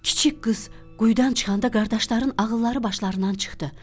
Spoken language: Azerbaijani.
Kiçik qız quyudan çıxanda qardaşların ağılları başlarından çıxdı.